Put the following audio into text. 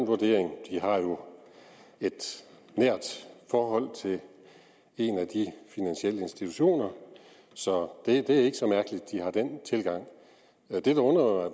et nært forhold til en af de finansielle institutioner så det er ikke så mærkeligt at de har den tilgang det der undrer